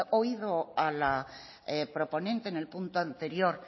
oído a la proponente en el punto anterior